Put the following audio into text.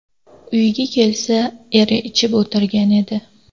Uyiga kelsa eri ichib o‘tirgan edi.